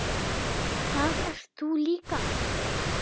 Þar ert þú líka.